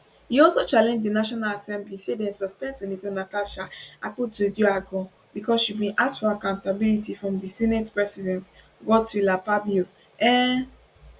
e also challenge di national assembly say dem suspend senator natasha akpotiuduaghan bicos she bin ask for accountability from di senate president godswill akpabio um